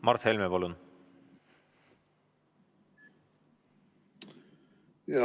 Mart Helme, palun!